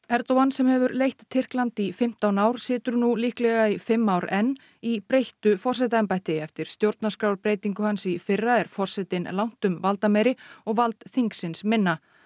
Erdogan sem hefur leitt Tyrkland í fimmtán ár situr nú líklega í fimm ár enn í breyttu forsetaembætti eftir stjórnarskrárbreytingu hans í fyrra er forsetinn langtum valdameiri og vald þingsins minna